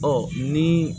Ɔ ni